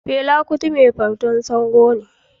Fela Kuti mai bautar Sango ne